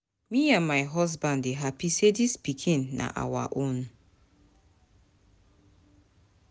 Me and my husband dey hapi sey dis pikin na our own.